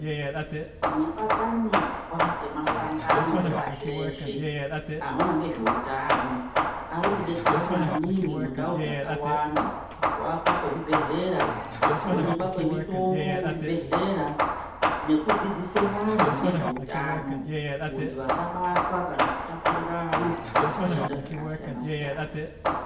Mibatanidzwa yemasangano epashi reshe anoona ngezveutano ari kudetsera maningi mundau dzakawanda kuwakwa kwezvibhedhlera, kuonekwa kwemitombo muzvibhedhlera nokudzidzise vantu nezveutano kuti vasabatwa kana kutapurirana zvitenda zvakasiyana siyana.